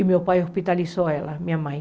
E meu pai hospitalizou ela, minha mãe.